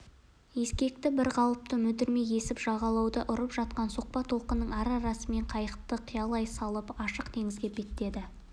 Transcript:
ескекті бірқалыпты мүдірмей есіп жағалауды ұрып жатқан соқпа толқынның ара-арасымен қайықты қиялай салып ашық теңізге беттеді